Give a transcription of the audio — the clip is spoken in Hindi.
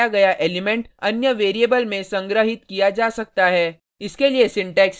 pop फंक्शन द्वारा हटाया गया एलिमेंट अन्य वेरिएबल में संग्रहित किया जा सकता है